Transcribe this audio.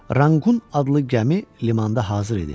Ranqqun adlı gəmi limanda hazır idi.